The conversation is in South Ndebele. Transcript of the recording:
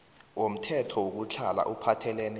zomthetho wokutlhala ophathelene